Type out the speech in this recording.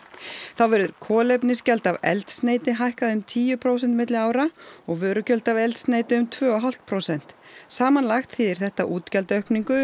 þá verður kolefnisgjald af eldsneyti hækkað um tíu prósent milli ára og vörugjöld af eldsneyti um tvö og hálft prósent samanlagt þýðir þetta útgjaldaaukningu